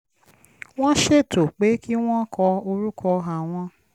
wọ́n ṣètò pé kí wọ́n kọ orúkọ àwọn